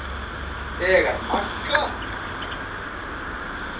Þegar Magga